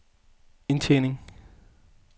indtjening